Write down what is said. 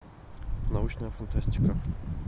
научная фантастика